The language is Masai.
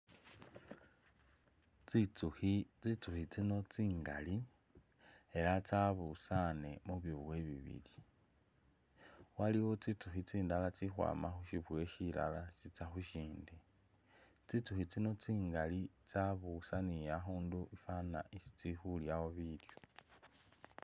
Tsitsukhi, tsitsukhi tsino tsingali ela tsabusaane mu biboye bibili. Waliwo tsitsukhi tsindala tsili ukhwama khu syiboye syilala tsitsa khu syindi. Tsitsukhi tsino tsingali tsabusanile akhundu afwana isi tsili khulyawo bilyo.